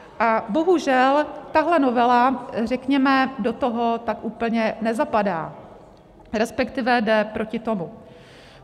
A bohužel tahle novela, řekněme, do toho tak úplně nezapadá, respektive jde proti tomu.